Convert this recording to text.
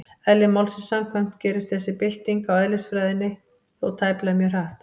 Eðli málsins samkvæmt gerist þessi bylting á eðlisfræðinni þó tæplega mjög hratt.